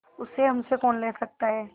उसे हमसे कौन ले सकता है